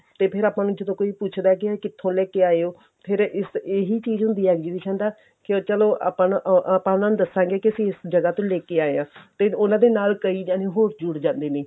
ਤੇ ਫਿਰ ਜਦੋਂ ਕੋਈ ਆਪਾਂ ਨੂੰ ਪੁੱਛ ਦਾ ਕਿਥੋਂ ਲੈ ਕੇ ਆਏ ਓ ਫਿਰ ਇਸ ਇਹੀ ਚੀਜ਼ ਹੁੰਦੀ ਏ exhibition ਦਾ ਕੇ ਚਲੋ ਆਪਾਂ ਨਾ ਆਪਾਂ ਉਹਨਾ ਨੂੰ ਦੱਸਾਂਗੇ ਕੀ ਅਸੀਂ ਇਸ ਜਗ੍ਹਾ ਤੋਂ ਲੈਕੇ ਆਏ ਆਂ ਤੇ ਉਹਨਾ ਦੇ ਨਾਲ ਕਈ ਜਣੇ ਹੋਰ ਜੁੜ ਜਾਂਦੇ ਨੇ